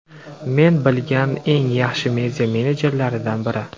Men bilgan eng yaxshi media menedjerlardan biri.